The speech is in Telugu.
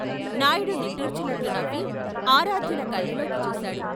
నాయుడు నిట్టూర్చినట్లు నవ్వి ఆరాధ్యుల కళ్ళలోకి చూశాడు.